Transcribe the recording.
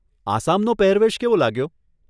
આસામનો પહેરવેશ કેવો લાગ્યો?